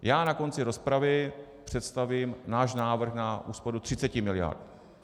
Já na konci rozpravy představím náš návrh na úsporu 30 miliard.